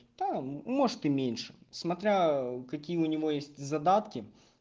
та может и меньше смотря какие у него есть задатки